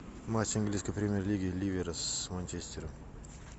матч английской премьер лиги ливера с манчестером